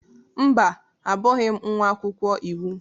Mba, Abụghị m nwa akwụkwọ iwu.